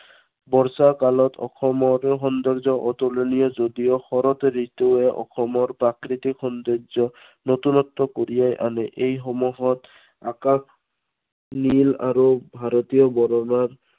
বৰষা কালত অসমৰ সৌন্দৰ্য অতুলনীয় যদিও শৰত ঋতুৱে অসমৰ প্ৰাকৃতিক সৌন্দৰ্য, নতুনত্ব কঢ়িয়াই আনে। এই সময়ত আকাশ নীল আৰু ভাৰতীয়